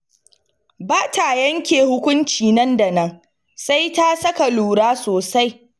Ba ta yanke hukuci nan da nan, sai ta saka lura sosai.